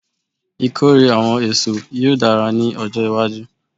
Ikore awọn eso yoo dara ni ọjọ iwaju